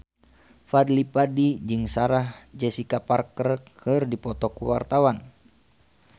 Fadly Padi jeung Sarah Jessica Parker keur dipoto ku wartawan